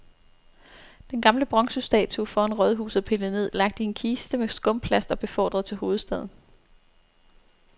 Den gamle bronzestatue foran rådhuset er pillet ned, lagt i en kiste med skumplast og befordret til hovedstaden.